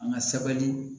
An ka sabali